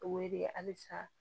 O wele halisa